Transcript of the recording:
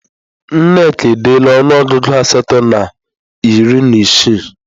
Nneka edeela ọnụọgụ asatọ na iri na isii